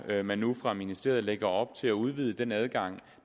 at man nu fra ministeriets side lægger op til at udvide den adgang